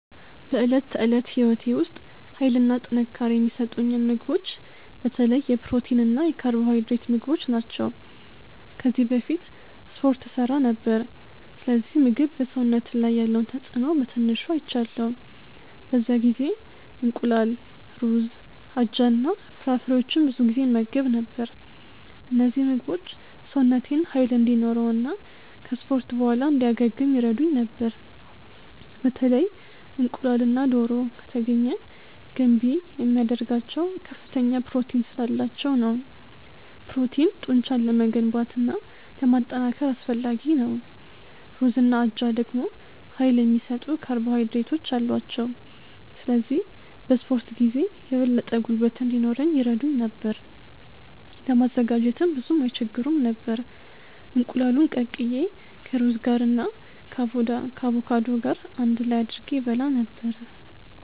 በዕለት ተዕለት ሕይወቴ ውስጥ ኃይልና ጥንካሬ የሚሰጡኝን ምግቦች በተለይ የፕሮቲን እና የካርቦሃይድሬት ምግቦች ናቸው። ከዚህ በፊት እስፖርት እሠራ ነበር፣ ስለዚህ ምግብ በሰውነት ላይ ያለውን ተጽእኖ በትንሹ አይቻለሁ። በዚያ ጊዜ እንቁላል፣ ሩዝ፣ አጃ እና ፍራፍሬዎችን ብዙ ጊዜ እመገብ ነበር። እነዚህ ምግቦች ሰውነቴን ኃይል እንዲኖረው እና ከ እስፖርት በኋላ እንዲያገግም ይረዱኝ ነበር። በተለይ እንቁላልና ዶሮ( ከተገኘ ) ገንቢ የሚያደርጋቸው ከፍተኛ ፕሮቲን ስላላቸው ነው። ፕሮቲን ጡንቻን ለመገንባት እና ለማጠናከር አስፈላጊ ነው። ሩዝና አጃ ደግሞ ኃይል የሚሰጡ ካርቦሃይድሬቶች አሏቸው፣ ስለዚህ በ እስፖርት ጊዜ የበለጠ ጉልበት እንዲኖረኝ ይረዱኝ ነበር። ለማዘጋጀትም ብዙም አይስቸግሩም ነበር፤ እንቁላሉን ቀቅዬ ከሩዝ ጋር እና ከአቮካዶ ገር አንድ ላይ አድርጌ እበላ ነበረ።